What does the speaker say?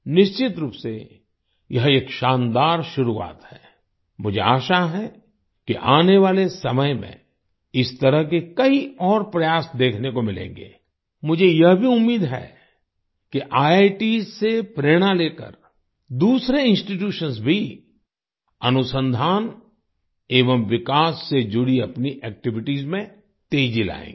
निश्चित रूप से यह एक शानदार शुरुआत है आई मुझे आशा है कि आने वाले समय में इस तरह के कई और प्रयास देखने को मिलेंगे आई मुझे यह भी उम्मीद है कि आईआईटीएस से प्रेरणा लेकर दूसरे इंस्टीट्यूशंस भी अनुसंधान एवं विकास से जुड़ी अपनी एक्टिविटीज में तेजी लाएंगे